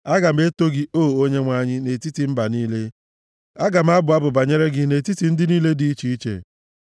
Aga m eto gị, O Onyenwe anyị, nʼetiti mba niile; aga m abụ abụ banyere gị nʼetiti ndị niile dị iche iche.